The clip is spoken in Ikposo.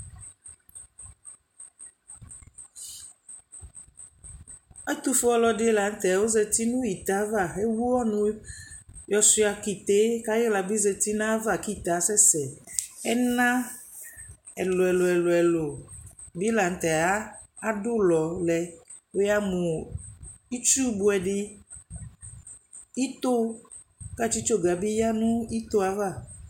Ɛtʋfue ɔlɔdɩ la nʋ tɛ ɔzati nʋ ite ava Ewu ɔnʋ yɔsʋɩa ka ite yɛ kʋ ayɩɣla zati nʋ ayava kʋ ite yɛ asɛsɛ Ɛna ɛlʋ-ɛlʋ ɛlʋ-ɛlʋ bɩ la nʋ tɛ adʋ ʋlɔ lɛ Wʋyamʋ itsubʋɛ dɩ, ito kʋ atsɩtsoga bɩ ya nʋ ito yɛ ava